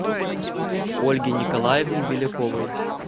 ольге николаевне беляковой